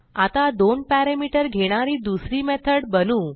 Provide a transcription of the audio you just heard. आता दोन पॅरामीटर घेणारी दुसरी मेथड बनवू